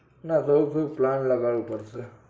પેલા જયેશ ભાઈ plant લગાવું પડશે